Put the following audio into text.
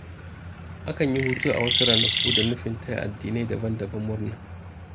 Akan yi hutu a wasu ranaku da nufin taya addinai daban-daban murna.